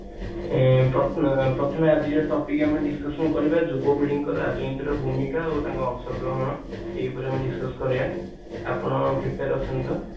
ପ୍ରଥାଏ ଏ ପ୍ରଥମେ ଆଜି ଯୋଉ topic ଆମେ କରିବା ଯୁବ ପିଢିଙ୍କର ଆଜିର ଭୂମିକା ଆଉ ତାଙ୍କର ଅଂଶ ଗ୍ରହଣ ଏଇ ଉପରେ ଆମେ discussion କରିବା ଆପଣ prepare ଅଛନ୍ତି ତ